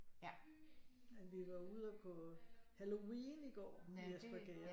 Men vi var og gå halloween i går i Espergærde